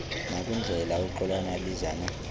nakwindlela uxolani abizana